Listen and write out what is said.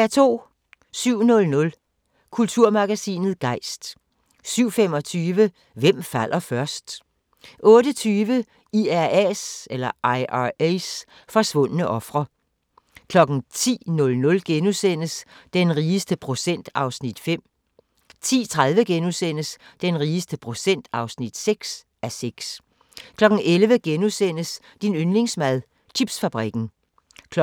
07:00: Kulturmagasinet Gejst 07:25: Hvem falder først? 08:20: IRA's forsvundne ofre 10:00: Den rigeste procent (5:6)* 10:30: Den rigeste procent (6:6)* 11:00: Din yndlingsmad: Chipsfabrikken * 12:00: